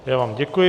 Já vám děkuji.